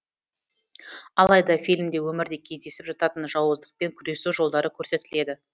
алайда фильмде өмірде кездесіп жататын жауыздықпен күресу жолдары көрсетіледі